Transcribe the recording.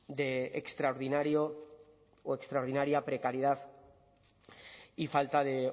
de extraordinario o extraordinaria precariedad y falta de